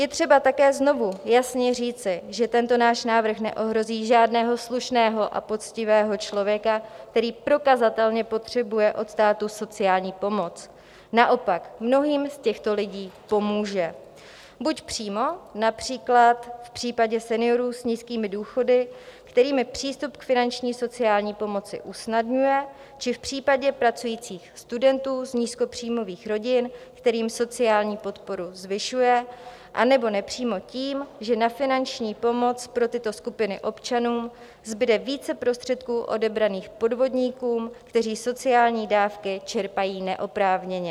Je třeba také znovu jasně říci, že tento náš návrh neohrozí žádného slušného a poctivého člověka, který prokazatelně potřebuje od státu sociální pomoc, naopak, mnohým z těch lidí pomůže buď přímo, například v případě seniorů s nízkými důchody, kterým přístup k finanční sociální pomoci usnadňuje, či v případě pracujících studentů z nízkopříjmových rodin, kterým sociální podporu zvyšuje, anebo nepřímo tím, že na finanční pomoc pro tyto skupiny občanů zbyde více prostředků odebraných podvodníkům, kteří sociální dávky čerpají neoprávněně.